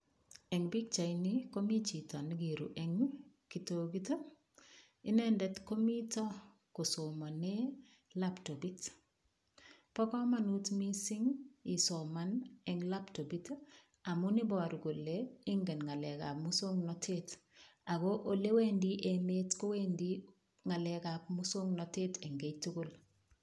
Eng' pikchaini komi chito nekiru eng' kitokit inendet komito kosomane laptopit bo komonut mising' isoman eng' laptopit amun iboru kole ingen ng'alekab muswong'natet ako ole wendi emet kowendi ng'alekab muswong'natet eng' keitugul.